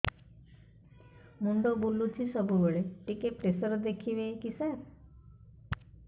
ମୁଣ୍ଡ ବୁଲୁଚି ସବୁବେଳେ ଟିକେ ପ୍ରେସର ଦେଖିବେ କି ସାର